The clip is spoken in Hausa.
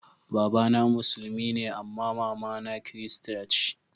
Baba na musulmi ne amma mama na kirista ce.